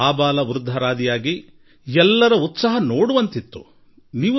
ಆಬಾಲವೃದ್ಧರೆಲ್ಲರಾದಿಯಾಗಿ ಎಲ್ಲರ ಉತ್ಸಾಹ ನೋಡುವುದು ಯೋಗ್ಯವೆನಿಸಿತು